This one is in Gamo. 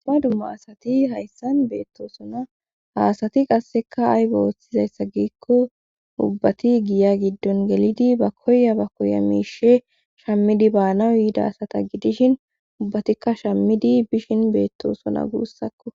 Dumma dumma asati hayssan beettosona haasati qasseka ay ba oththizayssa giikko ubbati giya giddon gelidi ba koya ba koya miishe shammidi baanawu yiida asata gidishin ubbatikka shammidi bishin beettoosona guussakko.